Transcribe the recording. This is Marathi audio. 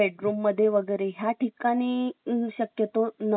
English English is most important now आणि आम्ही